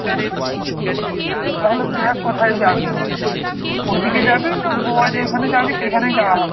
তাহলে দেখ কোথায় যাবি, ঐদিকে যাবি না গোয়া যেখানে যাবি সেখানেই যাওয়া হবে।